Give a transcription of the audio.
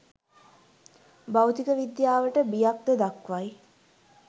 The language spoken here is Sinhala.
භෞතික විද්‍යාවට බියක්ද දක්වයි